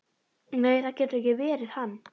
Nei, það getur ekki verið hann.